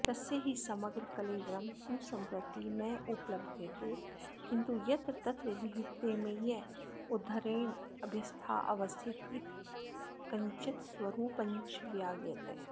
तस्य हि समग्रकलेवरं तु सम्प्रति नैवोपलभ्यते किन्तु यत्र तत्र विहितेम्य उद्धरणेभ्यस्तस्यावस्थित यत्किञ्चित्स्वरूपञ्च विज्ञायते